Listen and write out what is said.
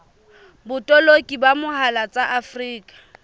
botoloki ka mohala tsa afrika